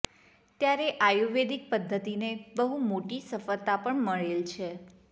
ત્યારે આયુર્વેદિક પદ્ધતિને બહુ મોટી સફળતા પણ મળેલ છે